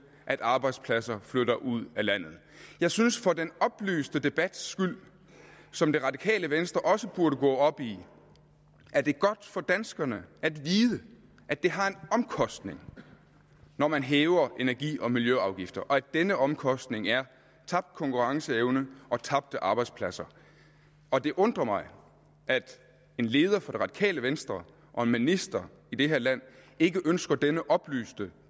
at arbejdspladser flytter ud af landet jeg synes for den oplyste debats skyld som det radikale venstre også burde gå op i at det er godt for danskerne at vide at det har en omkostning når man hæver energi og miljøafgifter og at denne omkostning er tabt konkurrenceevne og tabte arbejdspladser og det undrer mig at en leder for det radikale venstre og en minister i det her land ikke ønsker denne oplyste